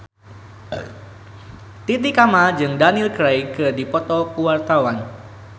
Titi Kamal jeung Daniel Craig keur dipoto ku wartawan